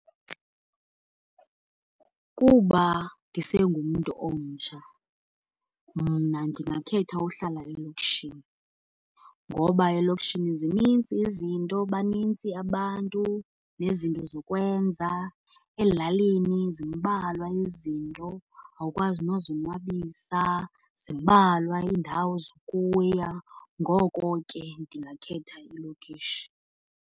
Kuba ndisengumntu omtsha, mna ndingakhetha uhlala elokishini ngoba elokishini zinintsi izinto, banintsi abantu nezinto zokwenza. Ezilalini zimbalwa izinto, awukwazi nozonwabisa, zimbalwa iindawo zokuya. Ngoko ke ndingakhetha ilokishi.